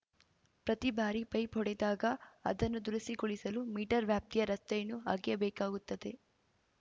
ಪ್ರತಿ ಬಾರಿ ಪೈಪ್ ಒಡೆದಾಗ ಅದನ್ನು ದುರಸ್ತಿಗೊಳಿಸಲು ಮೀಟರ್ ವ್ಯಾಪ್ತಿಯ ರಸ್ತೆಯನ್ನು ಅಗೆಯಬೇಕಾಗುತ್ತದೆ